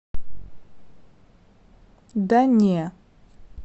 да не